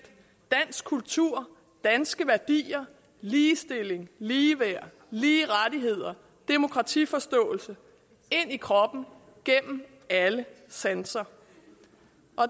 dansk kultur danske værdier ligestilling ligeværd lige rettigheder og demokratiforståelse ind i kroppen gennem alle sanser